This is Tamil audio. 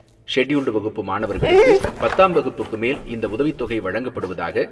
ஷெட்யூல்டு வகுப்பு மாணவர்களுக்கு பத்தாம் வகுப்புக்கு மேல் இந்த உதவித்தொகை வழங்கப்படுவதாக,